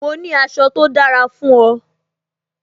Mo ní aṣọ tó dára fún o